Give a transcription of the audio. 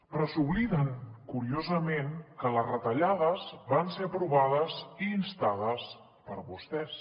però s’obliden curiosament que les retallades van ser aprovades i instades per vostès